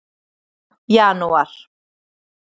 janúar